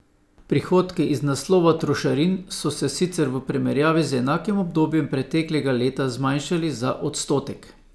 Prihodki iz naslova trošarin so se sicer v primerjavi z enakim obdobjem preteklega leta zmanjšali za odstotek.